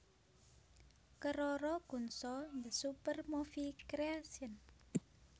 Keroro Gunso the Super Movie Creation